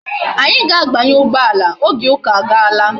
Anyi ga abanye ugboala, oge uka aga laa